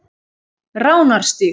Ránarstíg